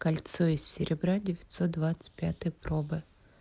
кольцо из серебра девятьсот двадцать пятой пробы